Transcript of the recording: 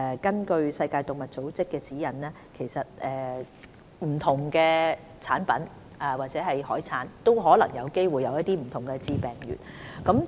根據世界動物衞生組織的指引，不同產品或海產也有機會含有不同的致病原。